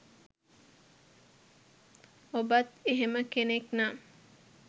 ඔබත් එහෙම කෙනෙක් නම්